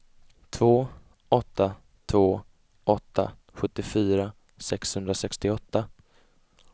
två åtta två åtta sjuttiofyra sexhundrasextioåtta